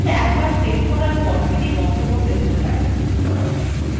document একবার save করার পর সেটি বন্ধ করতে হতে পারে